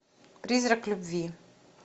призрак любви